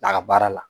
A ka baara la